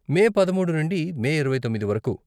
మే పదమూడు నుండి మే ఇరవై తొమ్మిది వరకు.